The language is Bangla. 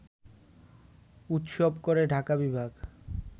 উৎসব করে ঢাকা বিভাগ